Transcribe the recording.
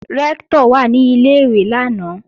Rẹ́ktọ̀ wà ní Ilé-ìwé lánàá